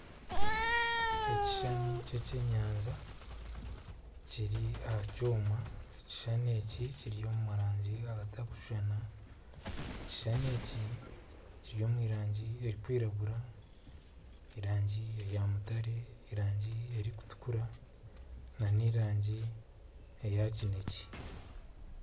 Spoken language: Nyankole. Ekishushani ky'ekyenyanja kiri aha kyoma, ekishushani eki kiri omu rangi ezitakushushana. Ekishushani eki kiri omu rangi erikwiragura, erangi eya mutare erangi erikutukura na n'erangi eya kinekye.